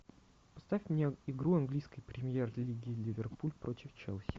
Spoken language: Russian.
поставь мне игру английской премьер лиги ливерпуль против челси